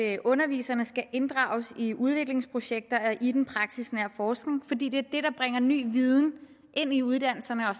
at underviserne skal inddrages i udviklingsprojekter i den praksisnære forskning fordi det er det der bringer ny viden ind i uddannelserne og